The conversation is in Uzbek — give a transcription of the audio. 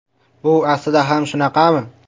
Bu aslida ham shunaqami?